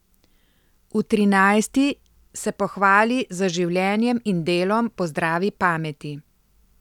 V trinajsti se pohvali z življenjem in delom po zdravi pameti.